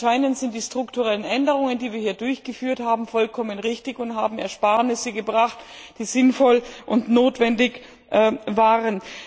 Anscheinend sind die strukturellen Änderungen, die wir hier durchgeführt haben, vollkommen richtig und haben Ersparnisse gebracht, die sinnvoll und notwendig waren.